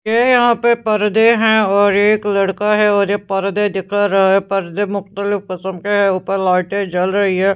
ये यहां पे पर्दे हैं और एक लड़का है और ये पर्दे दिखा रहा है पर्दे मुख्तलिफ किस्म के है ऊपर लाइटें जल रही है।